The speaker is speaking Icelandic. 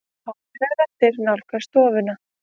Háværar raddir nálgast stofuna.